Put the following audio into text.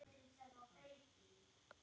Danski flotinn heldur úr höfn!